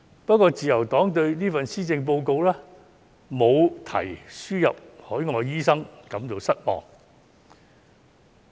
不過，自由黨對這份施政報告沒有提及輸入海外醫生感到失望。